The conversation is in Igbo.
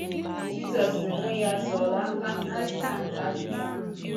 Jisọs n’onwe ya zoro aka n’azịza nke ajụjụ ahụ.